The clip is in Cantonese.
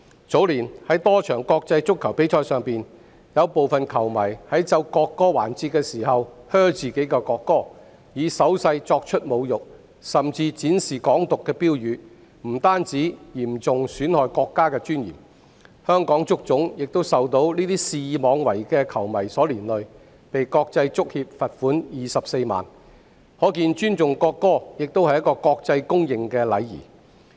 早年，在多場國際足球比賽上，部分球迷在奏國歌環節時"噓"國歌，以手勢作出侮辱，甚至展示"港獨"標語，不但嚴重損害國家的尊嚴，香港足球總會亦被這些肆意妄為的球迷連累，被國際足球協會罰款24萬元，可見尊重國歌亦是國際公認的禮儀。